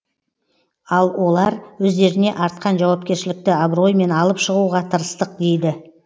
ал олар өздеріне артқан жауапкершілікті абыроймен алып шығуға тырыстық дейді